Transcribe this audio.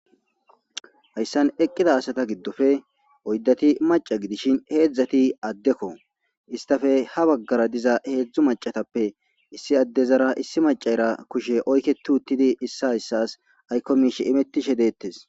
hayssan eqqida asata giddofe oyddati maca gidishin heedzdzati addekko. istafe ha baggara diza heedzdzu macatappe issi adde zara issi macaera kushe oykketti uttidi issa hayssas aykko miishe imettishe deettes.